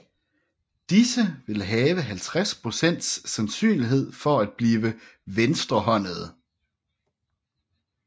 Disse vil have 50 procents sandsynlighed for at blive venstrehåndede